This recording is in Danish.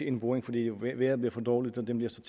en boring fordi vejret blev for dårligt men den vil